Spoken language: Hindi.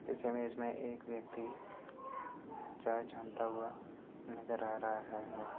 इस इमेज में एक व्यक्ति चाय छानता हुआ नजर आ रहा है।